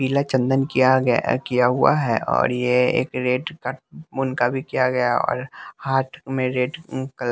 पीला चंदन किया ग किया हुआ है और ये एक रेड का मुनका भी किया गया और हाथ में रेड क--